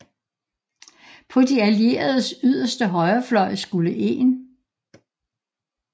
På de Allieredes yderste højrefløj skulle 1